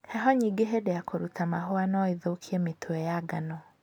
heho nyingĩ hĩndĩ ya kũruta mahũa nũĩthũkie mĩtwe ya ngano.